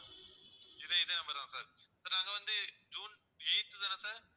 இதே இதே number தான் sir sir நாங்க வந்து ஜூன் eighth தானே sir